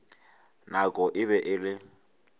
nako e be e le